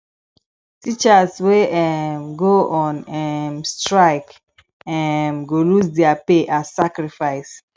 teachers wey um go on um strike um go lose their pay as sacrifice